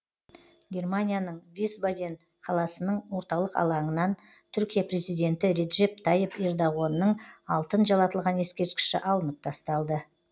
германияның висбаден қаласының орталық алаңынан түркия президенті реджеп тайып ердоғанның алтын жалатылған ескерткіші алынып тасталды